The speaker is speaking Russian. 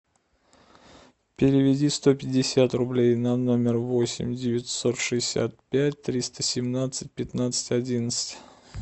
переведи сто пятьдесят рублей на номер восемь девятьсот шестьдесят пять триста семнадцать пятнадцать одиннадцать